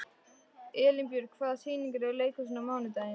Elínbjörg, hvaða sýningar eru í leikhúsinu á mánudaginn?